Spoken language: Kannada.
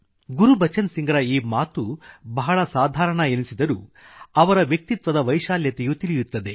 ಗುರ್ಬಚನ್ ಸಿಂಘ್ರ ಈ ಮಾತು ಬಹಳ ಸಾಧಾರಣ ಎನಿಸಿದರೂ ಅವರ ವ್ಯಕ್ತಿತ್ವದ ವೈಶಾಲ್ಯತೆಯು ತಿಳಿಯುತ್ತದೆ